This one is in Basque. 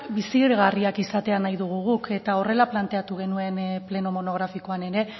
bizigarriak izatea nahi dugu guk eta horrela planteatu genuen pleno monografikoan ere